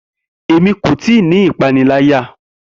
Emi ko ti ipanilaya.